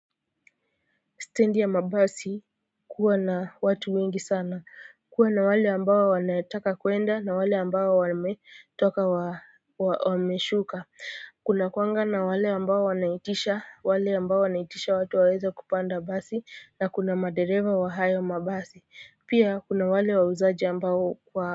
Steji ya mabasi kuwa na watu wengi sana, kuwa na wale amabao wanataka kuenda na wale ambao wame. Wameshuka kuna kuanga na wale ambao wanaitisha wale ambao wanaitisha watu waweza kupanda basi na kuna madereva wa hayo mabasi pia kuna wale wa uzaji ambao kwa.